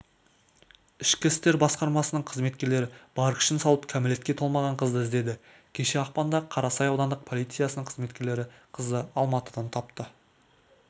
ішкі істер басқармасының қызметкерлері бар күшін салып кәмелетке толмаған қызды іздеді кеше ақпанда қарасай аудандық полициясының қызметкерлері қызды алматыдан тапты